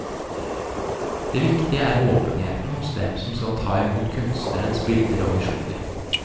Det viktige er åpenheten hos dem som skal ta imot kunstnerens bilder og visjoner.